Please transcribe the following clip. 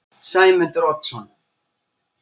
Sæmundur Oddsson